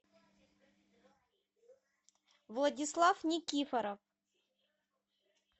владислав никифоров